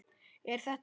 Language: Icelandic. Er þetta.?